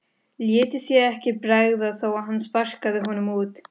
Léti sér ekki bregða þó að hann sparkaði honum út.